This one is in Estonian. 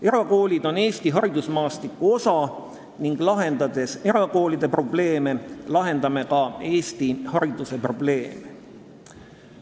Erakoolid on Eesti haridusmaastiku osa ning lahendades erakoolide probleeme, lahendame ka Eesti hariduse probleeme.